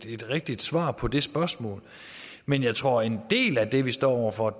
et rigtigt svar på det spørgsmål men jeg tror at en del af det vi står over for